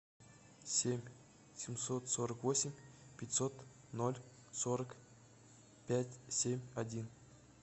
семь семьсот сорок восемь пятьсот ноль сорок пять семь один